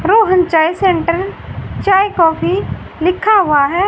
रोहन चाय सेंटर चाय कॉफी लिखा हुआ है।